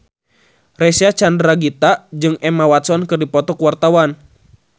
Reysa Chandragitta jeung Emma Watson keur dipoto ku wartawan